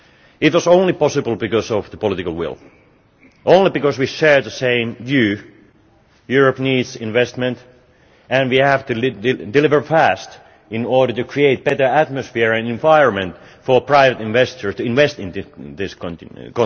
It was only possible because of the political will, because we share the same view Europe needs investment, and we have to deliver fast in order to create a better atmosphere and environment for private investors to invest in this continent.